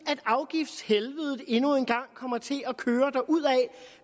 at afgiftshelvedet endnu en gang kommer til at køre derudad